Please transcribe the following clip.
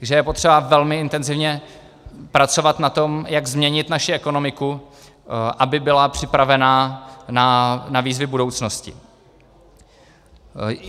Takže je potřeba velmi intenzivně pracovat na tom, jak změnit naši ekonomiku, aby byla připravena na výzvy budoucnosti.